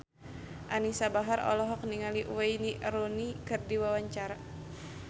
Anisa Bahar olohok ningali Wayne Rooney keur diwawancara